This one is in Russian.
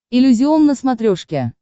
иллюзион на смотрешке